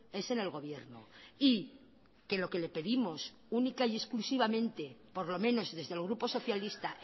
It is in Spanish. es en el gobierno y que lo que le pedimos única y exclusivamente por lo menos desde el grupo socialista